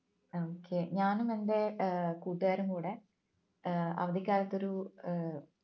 okay ഞാനും എന്റെ ഏർ കൂട്ടുകാരും കൂടെ ഏർ അവധിക്കാലത്ത് ഒരു ഏർ